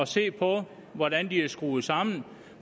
se på hvordan de er skruet sammen